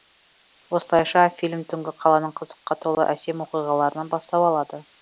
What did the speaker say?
осылайша фильм түнгі қаланың қызыққа толы әсем оқиғаларынан бастау алады